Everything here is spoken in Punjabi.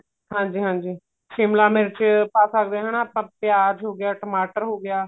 ਹਾਂਜੀ ਹਾਂਜੀ ਸ਼ਿਮਲਾ ਮਿਰਚ ਪਾ ਸਕਦੇ ਆ ਹਨਾ ਆਪਾਂ ਪਿਆਜ ਹੋ ਗਿਆ ਟਮਾਟਰ ਹੋ ਗਿਆ